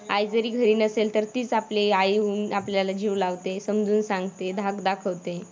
आई जरी घरी नसेल तर तीच आपली आई होऊन आपल्याला जीव लावते, समजून सांगते, धाक दाखवते.